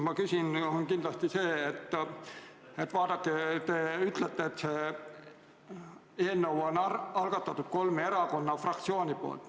Ja nüüd teine küsimus: vaadake, te ütlete, et selle eelnõu on algatanud kolme erakonna fraktsioonid.